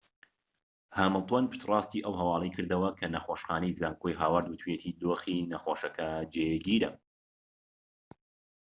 هامیلتۆن پشتڕاستی ئەو هەواڵەی کردەوە کە نەخۆشخانەی زانکۆی هاوەرد وتویەتی دۆخی نەخۆشەکە جێگیرە